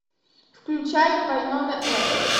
включай вайнона эрп